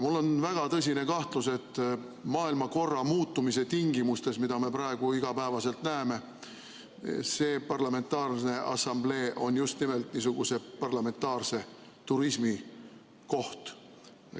Mul on väga tõsine kahtlus, et maailmakorra muutumise tingimustes, mida me praegu iga päev näeme, see parlamentaarne assamblee on just nimelt niisuguse parlamentaarse turismi koht.